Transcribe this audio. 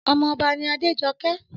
Ọmọ ọba ni Adéjọké